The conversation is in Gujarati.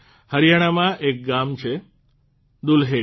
હરિયાણામાં એક ગામ છેદુલ્હેડી